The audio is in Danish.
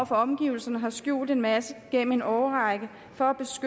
for omgivelserne har skjult en masse gennem en årrække for